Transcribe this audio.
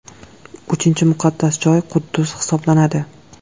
Uchinchi muqaddas joy – Quddus hisoblanadi.